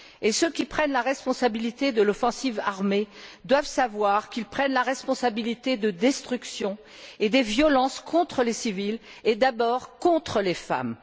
Et ceux qui prennent la responsabilité de l'offensive armée doivent savoir qu'ils prennent la responsabilité de destruction et des violences contre les civils et, d'abord, contre les femmes.